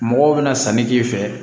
Mɔgɔw bɛna sanni k'i fɛ